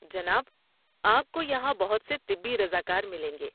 جناب، آپ کو یہاں بہت سے طبی رضاکار ملیں گے۔